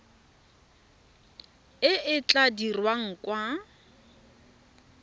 e e tla dirwang kwa